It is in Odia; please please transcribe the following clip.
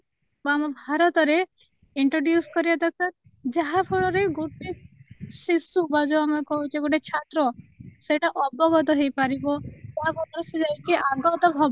ବା ଆମ ଭାରତ ରେ introduce କରିବା ଦରକାର ଯାହାଫଳରେ ଗୋଟେ ଶିଶୁ ବା ଯୋଉ ଆମେ କହୁଛେ ଗୋଟେ ଛାତ୍ର ସେଇଟା ଅବଗତ ହେଇପାରିବ ତା ବଦଳରେ ସିଏ ଯାଇକି ଆଗତ ଭବି